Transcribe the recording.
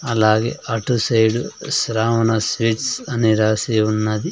అలాగే అటు side Shravana sweets అని రాసి ఉన్నది.